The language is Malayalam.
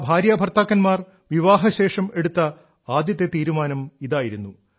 ആ ഭാര്യാഭർത്താക്കന്മാർ വിവാഹശേഷം എടുത്ത ആദ്യത്തെ തീരുമാനം ഇതായിരുന്നു